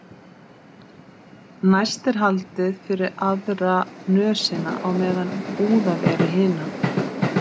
Næst er haldið fyrir aðra nösina á meðan úðað er í hina.